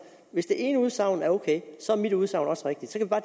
hvis det ene udsagn er ok er mit udsagn også rigtigt og